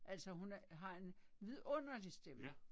Altså hun har en vidunderlig stemme